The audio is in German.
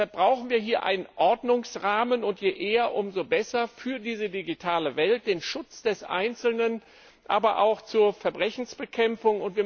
Deshalb brauchen wir hier einen Ordnungsrahmen je eher, umso besser für diese digitale Welt, für den Schutz des Einzelnen, aber auch zur Verbrechensbekämpfung.